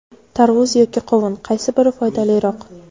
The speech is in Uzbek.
Tarvuz yoki qovun, qaysi biri foydaliroq?.